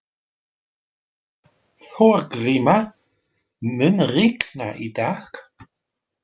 Þorgríma, mun rigna í dag?